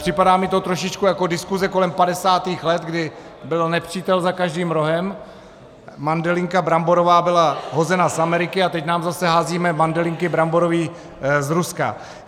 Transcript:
Připadá mi to trošičku jako diskuse kolem 50. let, kdy byl nepřítel za každým rohem, mandelinka bramborová byla hozena z Ameriky a teď nám zase hází mandelinky bramborový z Ruska.